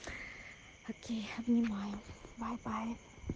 окей обнимаю бай бай